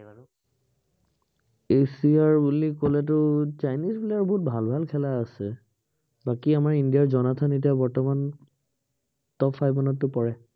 এচিয়াৰ বুলি কলেতো চাইনিজ player বহুত ভাল ভাল খেলা আছে। বাকী আমাৰ ইন্দিয়াৰ জনাৰ্থন এতিয়াৰ বৰ্তমান top five মানতটো পৰে।